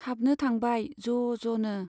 हाबनो थांबाय ज'ज'नो।